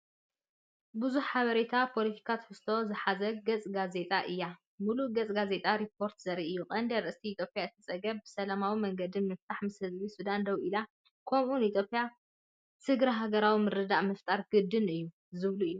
ብዙሕ ሓበሬታን ፖለቲካዊ ትሕዝቶን ዝሓዘት ገፅ ጋዜጣ እያ! ምሉእ ገጽ ጋዜጣ ሪፖርተር ዘርኢ እዩ። ቀንዲ ኣርእስታት "ኢትዮጵያ ነቲ ጸገም ብሰላማዊ መንገዲ ንምፍታሕ ምስ ህዝቢ ሱዳን ደው ኢላ" ከምኡ'ውን "ኢትዮጵያ ስግረ-ሃገራዊ ምርድዳእ ምፍጣር ግድን'ዩ" ዝብሉ እዮም።